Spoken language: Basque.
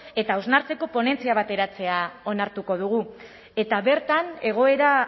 eta hausnartzeko ponentzia bat eratzea onartuko dugu eta bertan egoera